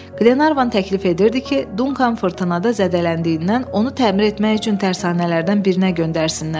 Glenarvan təklif edirdi ki, Duncan fırtınada zədələndiyindən onu təmir etmək üçün tərsanələrdən birinə göndərsinlər.